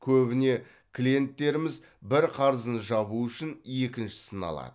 көбіне клиенттеріміз бір қарызын жабу үшін екіншісін алады